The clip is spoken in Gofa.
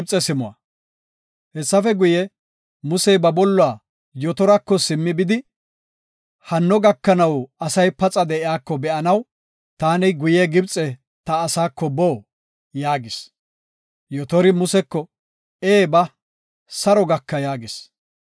Hessafe guye, Musey ba bolluwa Yotarako simmi bidi, “Hanno gakanaw asay paxa de7iyako be7anaw, taani guye Gibxe ta asaako boo?” yaagis. Yotori Museko, “Ee ba; saro gaka” yaagis.